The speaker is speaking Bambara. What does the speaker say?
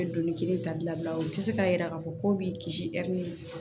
Bɛ doni kelen ta bila u tɛ se k'a jira k'a fɔ ko b'i kisi